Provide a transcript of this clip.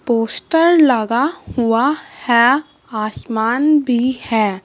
Poster लगा हुआ है आसमान भी है।